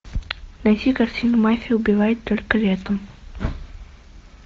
найти картину мафия убивает только летом